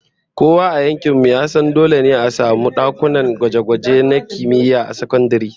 Kowa a yankin mu ya san dole a samu dakunan gwaje-gwaje na kimiyya a sakandare